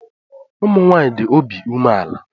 Ụmụnwaanyị dị obi umeala.